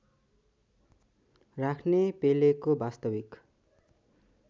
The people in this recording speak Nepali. राख्ने पेलेको वास्तविक